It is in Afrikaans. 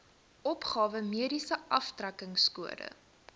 opgawe mediese aftrekkingskode